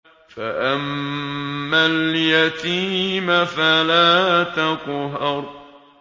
فَأَمَّا الْيَتِيمَ فَلَا تَقْهَرْ